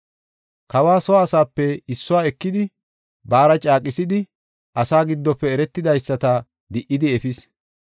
Kawa soo asaape issuwa ekidi, baara caaqisidi, asaa giddofe eretidaysata di77idi efis.